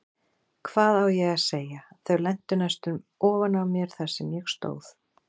Hvað á ég að segja, þau lentu næstum ofan á mér þar sem ég stóð.